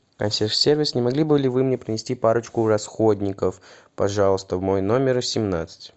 консьерж сервис не могли бы ли вы мне принести парочку расходников пожалуйста в мой номер семнадцать